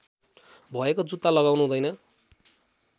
भएको जुत्ता लगाउनुहुँदैन